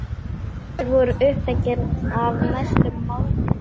Allir voru uppteknir af næstu máltíð.